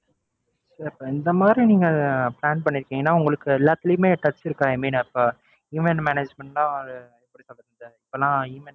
இல்ல இப்ப இந்த மாதிரி நீங்க plan பண்ணிருக்கீங்கன்னா உங்களுக்கு எல்லாத்துலையுமே touch இருக்கா i mean event management னா